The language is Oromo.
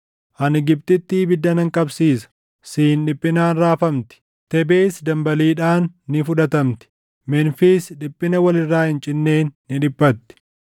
Ani Gibxitti ibidda nan qabsiisa; Siin dhiphinaan raafamti. Tebesi dambaliidhaan ni fudhatamti; Memfiis dhiphina wal irraa hin cinneen ni dhiphatti.